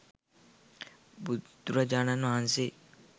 බුදුරජාණන් වහන්සේ